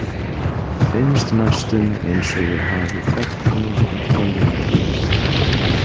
Finnst næstum eins og ég hafi þekkt hana alla mína tíð.